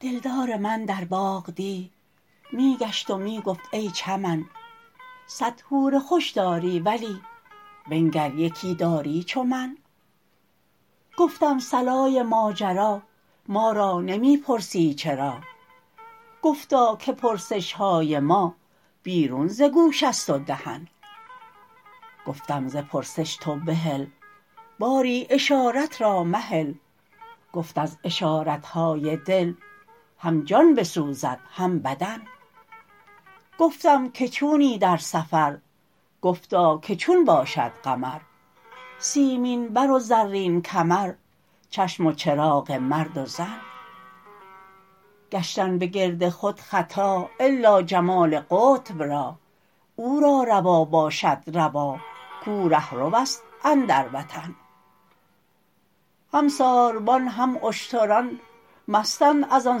دلدار من در باغ دی می گشت و می گفت ای چمن صد حور خوش داری ولی بنگر یکی داری چو من گفتم صلای ماجرا ما را نمی پرسی چرا گفتا که پرسش های ما بیرون ز گوش است و دهن گفتم ز پرسش تو بحل باری اشارت را مهل گفت از اشارت های دل هم جان بسوزد هم بدن گفتم که چونی در سفر گفتا که چون باشد قمر سیمین بر و زرین کمر چشم و چراغ مرد و زن گشتن به گرد خود خطا الا جمال قطب را او را روا باشد روا کو ره رو است اندر وطن هم ساربان هم اشتران مستند از آن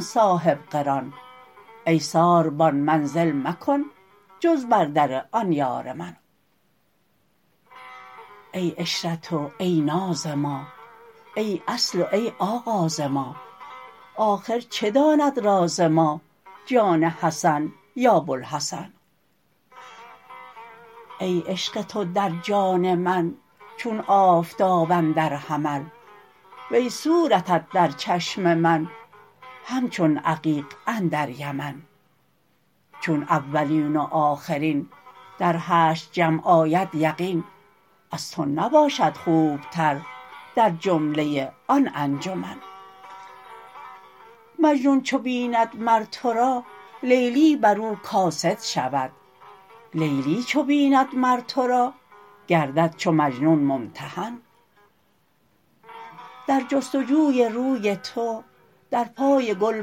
صاحب قران ای ساربان منزل مکن جز بر در آن یار من ای عشرت و ای ناز ما ای اصل و ای آغاز ما آخر چه داند راز ما جان حسن یا بوالحسن ای عشق تو در جان من چون آفتاب اندر حمل وی صورتت در چشم من همچون عقیق اندر یمن چون اولین و آخرین در حشر جمع آید یقین از تو نباشد خوبتر در جمله آن انجمن مجنون چو بیند مر تو را لیلی بر او کاسد شود لیلی چو بیند مر تو را گردد چو مجنون ممتحن در جست و جوی روی تو در پای گل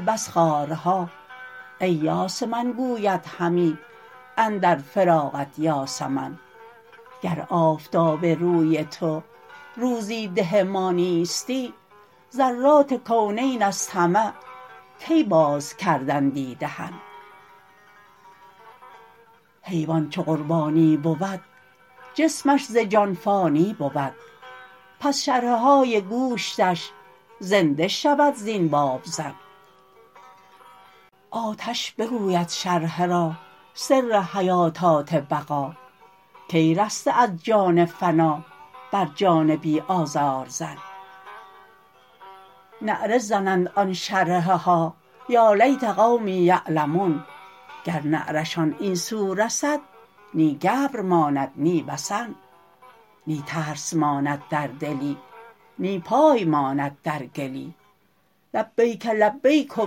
بس خارها ای یاس من گوید همی اندر فراقت یاسمن گر آفتاب روی تو روزی ده ما نیستی ذرات کونین از طمع کی باز کردندی دهن حیوان چو قربانی بود جسمش ز جان فانی بود پس شرحه های گوشتش زنده شود زین بابزن آتش بگوید شرحه را سر حیاتات بقا کای رسته از جان فنا بر جان بی آزار زن نعره زنند آن شرحه ها یا لیت قومی یعلمون گر نعره شان این سو رسد نی گبر ماند نی وثن نی ترس ماند در دلی نی پای ماند در گلی لبیک لبیک و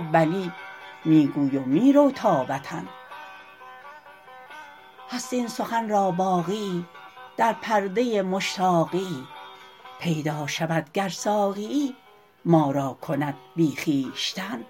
بلی می گوی و می رو تا وطن هست این سخن را باقیی در پرده مشتاقیی پیدا شود گر ساقیی ما را کند بی خویشتن